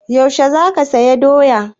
Yaushe za saya doyan?